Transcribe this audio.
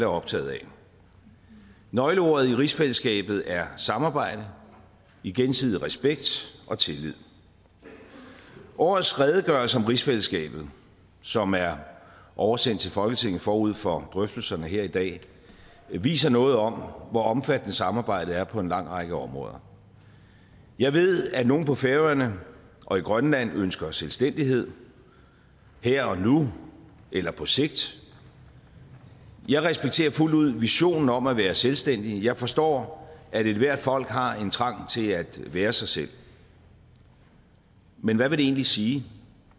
optagede af nøgleordet i rigsfællesskabet er samarbejde i gensidig respekt og tillid årets redegørelse om rigsfællesskabet som er oversendt til folketinget forud for drøftelserne her i dag viser noget om hvor omfattende samarbejdet er på en lang række områder jeg ved at nogle på færøerne og i grønland ønsker selvstændighed her og nu eller på sigt jeg respekterer fuldt ud visionen om at være selvstændig jeg forstår at ethvert folk har en trang til at være sig selv men hvad vil det egentlig sige